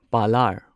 ꯄꯂꯥꯔ